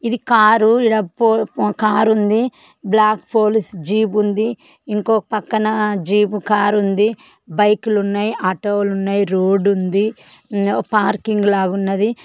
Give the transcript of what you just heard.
ఇది కారు ఈడ పో కార్ ఉంది. బ్లాక్ పోలీస్ జీప్ ఉంది. ఇంకో పక్కన జీప్ కార్ ఉంది. బైక్ లు ఉన్నాయి ఆటో లు ఉన్నాయి రోడ్డు ఉంది. పార్కింగ్ లాగా ఉన్నాది.